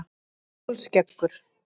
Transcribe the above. Kolskeggur